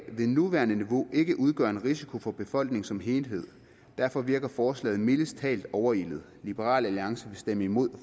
det nuværende niveau ikke udgør en risiko for befolkningen som helhed derfor virker forslaget mildest talt overilet liberal alliance vil stemme imod